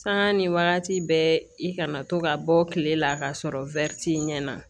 Sanga ni wagati bɛɛ i kana to ka bɔ kile la k'a sɔrɔ t'i ɲɛ na